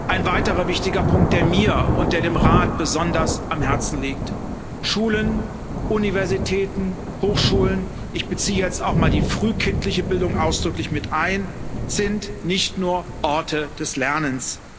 Ein weiterer wichtiger Punkt, der mir und der dem Rat besonders am Herzen liegt Schulen, Universitäten, Hochschulen ich beziehe jetzt auch mal die frühkindliche Bildung ausdrücklich mit ein sind nicht nur Orte des Lernens.